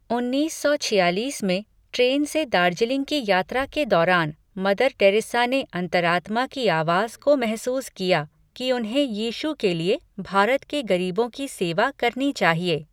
उन्नीस सौ छियालीस में, ट्रेन से दार्जिलिंग की यात्रा के दौरान, मदर टेरेसा ने अंतरात्मा की आवाज़ को महसूस किया कि उन्हें यीशु के लिए भारत के गरीबों की सेवा करनी चाहिए।